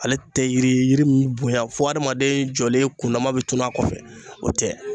Ale tɛ yiri yiri bonya fo adamaden jɔlen kundama bɛ tunun a kɔfɛ, o tɛ.